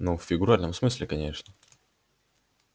ну в фигуральном смысле конечно